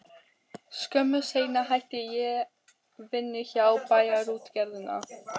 Skömmu seinna hætti ég vinnu hjá Bæjarútgerðinni.